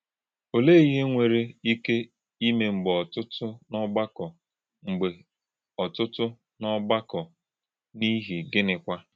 Olè̄e íhè̄ nwèrè̄ íkè̄ ímè̄ mgbè̄ ọ̀tụ́tụ̄ n’ọ̀gbàkọ̄, mgbè̄ ọ̀tụ́tụ̄ n’ọ̀gbàkọ̄, n’ìhì̄ gị̣nị̀kwà̄?